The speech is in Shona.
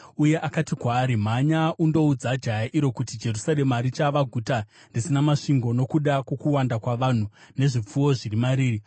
uye akati kwaari: “Mhanya undoudza jaya iro kuti, ‘Jerusarema richava guta risina masvingo nokuda kwokuwanda kwavanhu nezvipfuwo zviri mariri.